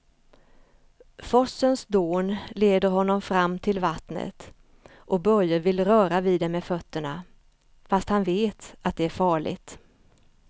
Forsens dån leder honom fram till vattnet och Börje vill röra vid det med fötterna, fast han vet att det är farligt.